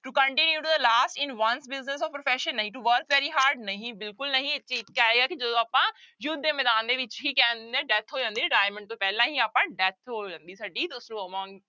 To continue to the last in ones business or profession ਨਹੀਂ to work very hard ਨਹੀਂ ਬਿਲਕੁਲ ਨਹੀਂ ਕਿ ਜਦੋਂ ਆਪਾਂ ਯੁੱਧ ਦੇ ਮੈਦਾਨ ਦੇ ਵਿੱਚ ਹੀ death ਹੋ ਜਾਂਦੀ ਹੈ retirement ਤੋਂ ਪਹਿਲਾਂ ਹੀ ਆਪਾਂ death ਹੋ ਜਾਂਦੀ ਹੈ ਸਾਡੀ